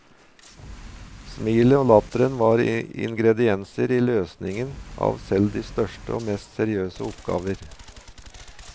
Smilet og latteren var ingredienser i løsningen av selv de største og mest seriøse oppgaver.